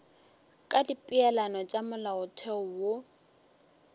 ka dipeelano tša molaotheo wo